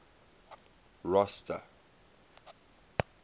rosta